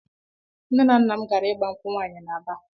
Nnenanna m gaara ịgba nkwụ nwaanyị n'Aba.